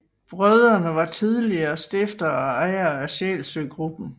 Brødrene var tidligere stiftere og ejere af Sjælsø Gruppen